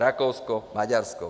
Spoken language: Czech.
Rakousko, Maďarsko.